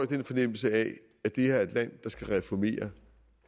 den fornemmelse at at det her er et land der skal reformere